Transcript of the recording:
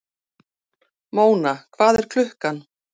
Móna, hvað er klukkan?